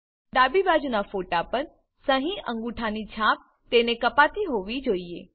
ડાબી બાજુનાં ફોટા પર સહીઅંગૂઠાની છાપ તેને કાપતી હોવી જોઈએ